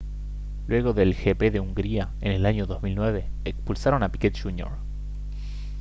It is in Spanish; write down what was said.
luego del gp de hungría en el año 2009 expulsaron a piquet jr